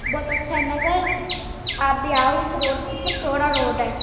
बहोत अच्छा है मगर आप भी आओ इस रोड पे कितना चौड़ा रोड है |